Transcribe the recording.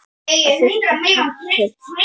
Það þurfti kjark til.